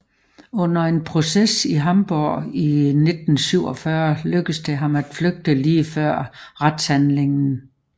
Under en proces i Hamborg i 1947 lykkedes det ham at flygte lige før retshandlingen